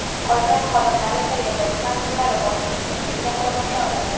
Qolgan xodimlar esa yashash manzillari bo‘yicha tibbiy nazoratga olindi.